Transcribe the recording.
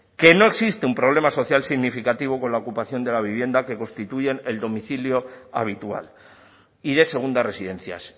que no existe un problema social significativo con la ocupación de la vivienda que constituyen el domicilio habitual y de segundas residencias